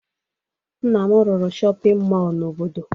Nna m rụrụ shọpịn mọọ n'obodo